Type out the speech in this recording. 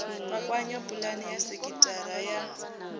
kwakwanya pulani ya sekithara ya